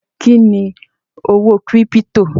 Kí ni owó kírípítò?